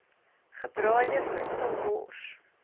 gebraaide voedsel wors